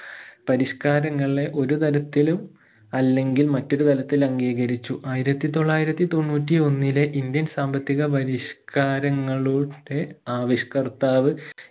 പരിഷ്കാരങ്ങളെ ഒരു തരത്തിലും അല്ലെങ്കിൽ മറ്റൊരു തരത്തിൽ അംഗീകരിച്ചു ആയിരത്തി തൊള്ളായിരത്തി തൊണ്ണൂറ്റി ഒന്നിലെ indian സാമ്പത്തിക പരിഷ്കാരങ്ങളുടെ ആവിഷ്കർത്താവ്